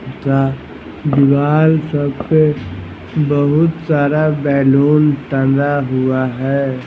था दिवाल सब पे बहुत सारा बैलून टंगा हुआ है।